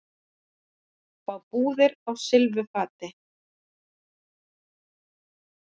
Fá íbúðir á silfurfati